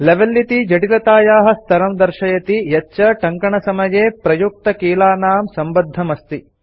level इति जटिलतायाः स्तरं दर्शयति यच्च टङ्कनसमये प्रयुक्तकीलानां सम्बद्धमस्ति